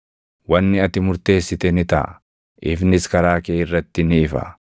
Wanni ati murteessite ni taʼa; ifnis karaa kee irratti ni ifa.